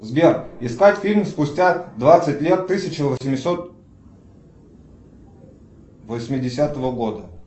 сбер искать фильм спустя двадцать лет тысяча восемьсот восьмидесятого года